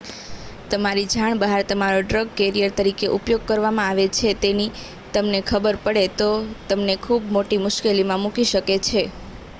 તમારી જાણ બહાર તમારો ડ્રગ કેરિયર તરીકે ઉપયોગ કરવામાં આવે છે તેવી તમને ખબર પડે તો તે તમને ખૂબ મોટી મુશ્કેલીમાં મૂકી શકે છે